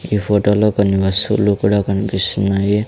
ఈ ఫోటోలో కొన్ని వస్తువులు కూడా కన్పిస్తున్నాయి.